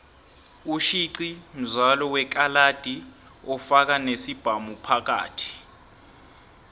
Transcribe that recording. ushixi mzialo wekaxadi ofaka nesibhamuphakathi